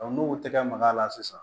n'u tɛgɛ maga a la sisan